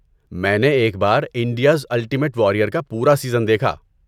میں نے ایک بار 'انڈیاز الٹیمیٹ واریر' کا پورا سیزن دیکھا۔